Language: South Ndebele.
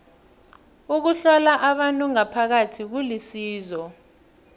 ukuhlola abantu ngaphakathi kulisizo